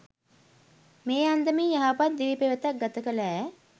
මේ අන්දමින් යහපත් දිවි පෙවෙතක් ගත කළ ඈ